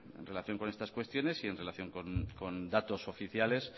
en relación con estas cuestiones y en relación con datos oficiales